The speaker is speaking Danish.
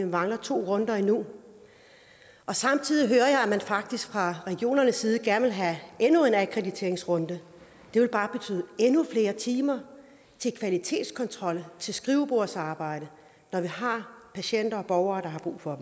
mangler to runder endnu samtidig hører jeg at man faktisk fra regionernes side gerne vil have endnu en akkrediteringsrunde det vil bare betyde endnu flere timer til kvalitetskontrol til skrivebordsarbejde når vi har patienter og borgere der har brug for